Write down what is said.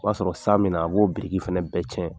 O b'a sɔrɔ san bɛna a b'o biriki fɛnɛ bɛɛ cɛn